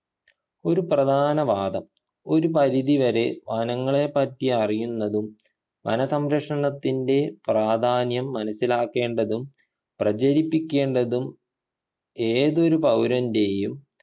ഒരു പ്രധാന വാദം ഒരു പരിധി വരെ വനങ്ങളെപ്പറ്റി അറിയുന്നതും വന സംരക്ഷണത്തിൻ്റെ പ്രാധാന്യം മനസിലാക്കേണ്ടതും പ്രചരിപ്പിക്കേണ്ടതും ഏതൊരു പൗരൻ്റെയും